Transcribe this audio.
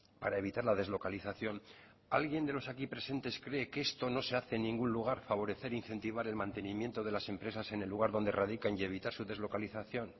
para evitar la deslocalización alguien de los aquí presentes cree que esto no se hace en ningún lugar favorecer e incentivar el mantenimiento de las empresas en el lugar donde radican y evitar su deslocalizacion